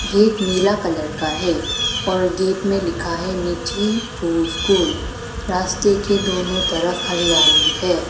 एक नीला कलर का है और गेट में लिखा है नीचे ओ स्कूल रास्ते के दोनों तरफ हरियाली है।